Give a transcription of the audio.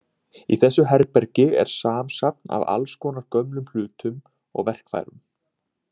Í þessu herbergi er samsafn af allskonar gömlum hlutum og verkfærum.